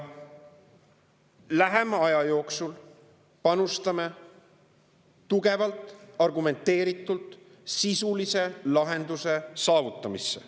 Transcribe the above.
Lähema aja jooksul panustame tugevalt argumenteeritult sisulise lahenduse saavutamisse.